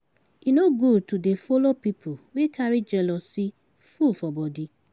E no good to dey folo pipu wey carry jealousy full for bodi.